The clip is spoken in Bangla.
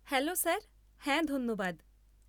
Hello sir. হ্যাঁ ধন্যবাদ।